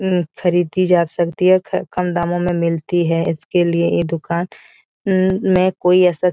उम खरीदी जा सकती है क कम दामों में मिलती है इसके लिए ये दूकान म में कोई ऐसा --